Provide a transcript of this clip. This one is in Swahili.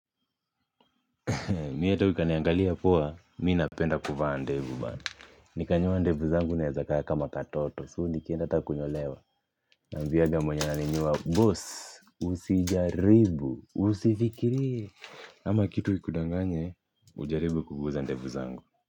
Mi hata ukaniangalia poa, mi napenda kuvaa ndevu bana. Nikanyoa ndevu zangu naeza kaa kama katoto. So nikienda hata kunyolewa. Na ambianga mwenye aninyoa, boss, usijaribu, usifikirie. Ama kitu ikudanganye, ujaribu kuguza ndevu zangu.